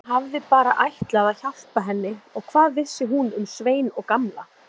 Konan hafði bara ætlað að hjálpa henni og hvað vissi hún um Svein og Gamla.